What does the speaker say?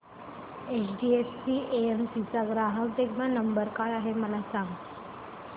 HDFC AMC चा ग्राहक देखभाल नंबर काय आहे मला सांग